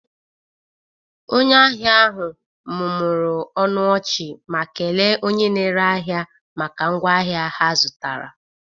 Onye ahịa ahụ mụmụrụ ọnụ ọchị, ma kele onye na-ere ahịa maka ngwa ahịa ha zụtara